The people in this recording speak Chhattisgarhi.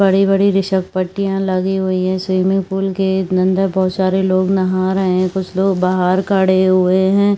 बड़ी-बड़ी घीसल पट्टियाँ लगी हुई है स्विमिंग पूल के अंदर बहोत सारे लोग नहा रहे है कुछ लोग बाहर खड़े हुए है।